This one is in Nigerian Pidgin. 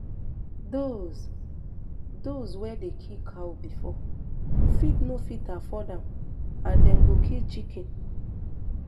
dose dose wey dey kill cow bifor fit no fit afford am and dem go kill chicken